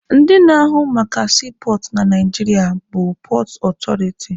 Ndị na-ahụ maka siipọọtụ na Naijiria pọọt ọtọriti.